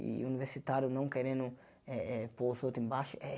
E universitário não querendo eh eh pôr os outros embaixo é.